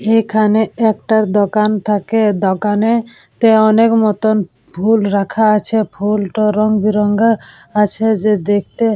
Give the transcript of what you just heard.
এখানে একটা দোকান থাকে। দোকানে -তে অনেক মতন ফুল রাখা আছে। ফুলটা রংবেরঙের আছে যে দেখতে--